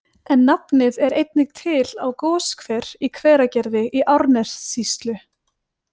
En nafnið er einnig til á goshver í Hveragerði í Árnessýslu.